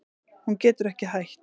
Hún getur ekki hætt.